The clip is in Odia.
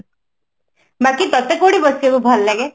ବାକି ତତେ କୋଉଠି ବସିବାକୁ ଭଲ ଲାଗେ